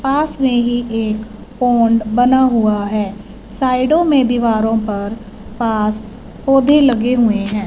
पास में ही एक पौंड बना हुआ है साइडों में दीवारों पर पास पौधे लगे हुए हैं।